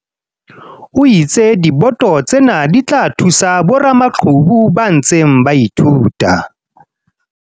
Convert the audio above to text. o itse diboto tsena di tla thusa boramaqhubu ba ntseng ba ithuta.